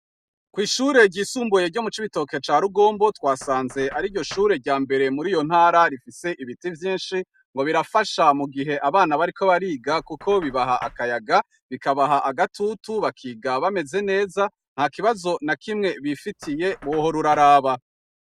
Kw’ishure ryisumbuye ryo mu c' ibitoke ca rugombo twasanze ari ryo shure rya mbere muri iyo ntara rifise ibiti vyinshi ngo birafasha mu gihe abana bariko bariga, kuko bibaha akayaga bikabaha agatutu bakiga bameze neza nka kibazo na kimwe bifitiye boho ra uraraba.